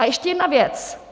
A ještě jedna věc.